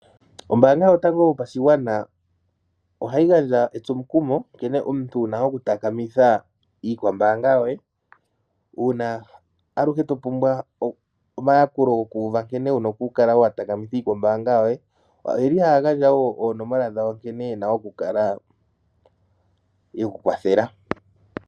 Ombaanga yotango yopashigwana ohayi gandja omukumo nkene omuntu wuna okutakamitha iikwambaanga yoye uuna aluhe topumbwa okuuva omayakulo gankene wuna okukala watakamitha iikwambaanga yoye. Oyeli haya gandja wo oonomola dhawo nkene yena okukala yekukwathela.